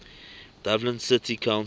dublin city council